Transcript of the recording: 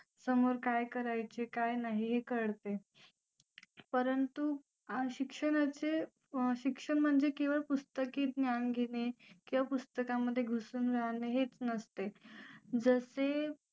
समोर काय करायचे काय नाही हे कळते परंतु शिक्षणाचे शिक्षण म्हणजे केवळ पुस्तके ज्ञान घेणे केवळ पुस्तकांमध्ये घुसून राहणे हेच नसते जसे